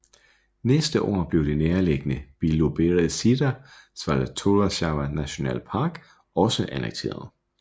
Næste år blev det nærliggende Biloberezjzjja Svjatoslava Nationalpark også annekteret